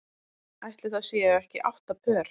Ætli það séu ekki átta pör.